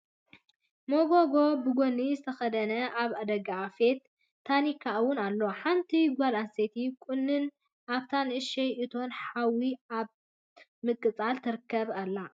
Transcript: መጎጎ ብሞጉዲ ዝተከደነ ኣብ ደጋኣፌት ቴንካ እውን ኣሎ። ሓንቲ ጎል ኣንስትየቲ ቁንንትን ኣብታ ንእሽተይ እቶን ሓዊ ኣብ ምቅፃል ትርከብ ኣላ ።